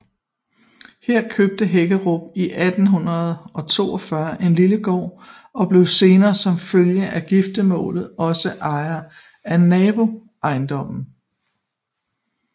Her købte Hækkerup 1842 en lille gård og blev senere som følge af giftermål også ejer af naboejendommen